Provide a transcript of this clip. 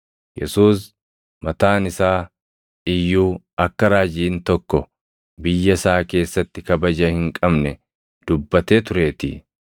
Yesuus mataan isaa iyyuu akka raajiin tokko biyya isaa keessatti kabaja hin qabne dubbatee tureetii.